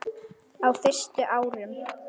Á fyrstu árum